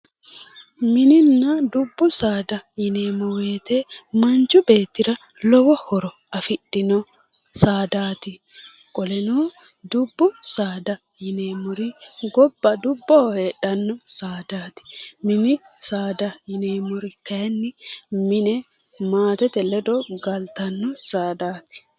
mininna dubbu saada yineemmowoyite manchi beettira lowo horo afidhino saadaati qoleno dubbu saada yineemmori gobba dubboho heedhannoreeti saadaati mini saada yineemmori kayinni mine maatete ledo galtanno saadaati